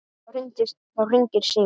Þá hringir síminn.